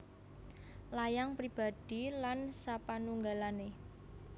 Layang Pribadi lan sapanunggalané